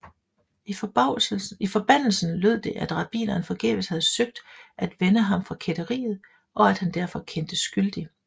I forbandelsen lød det at rabbineren forgæves havde søgt at vende ham fra kætteriet og at han derfor kendtes skyldig